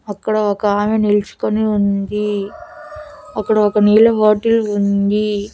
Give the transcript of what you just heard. అక్కడ ఒక ఆమె నిలుచుకుని ఉందీ అక్కడ ఒక నీళ్ల బాటిల్ ఉందీ.